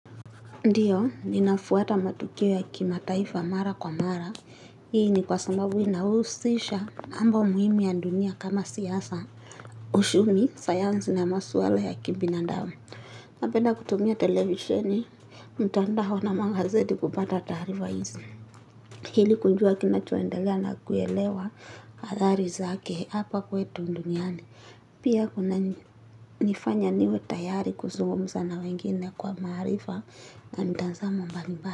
Ndiyo, ninafuata matukio ya kimataifa mara kwa mara. Hii ni kwa sababu inahusisha mambo muhimi ya dunia kama siasa. Ushumi, sayansi na maswala ya kibinadamu. Napenda kutumia televisheni, mtandao na magazeti kupata taarifa hizi ili kujua kinachoendelea na kuelewa adhari zake hapa kwetu nduniani. Pia kunanifanya niwe tayari kuzungumza na wengine kwa maarifa na mtazamo mbali mba.